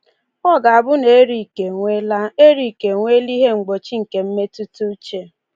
Ọ ga-abụ na Erik enweela Erik enweela ihe mgbochi nke mmetụtauche.